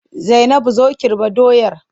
Zainabu zo Kirɓa doyar!